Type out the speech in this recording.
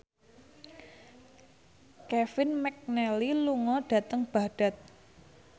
Kevin McNally lunga dhateng Baghdad